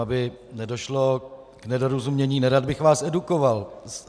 Aby nedošlo k nedorozumění, nerad bych vás edukoval.